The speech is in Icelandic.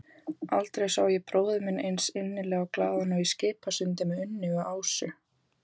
Aldrei sá ég bróður minn eins innilega glaðan og í Skipasundi með Unni og Ásu.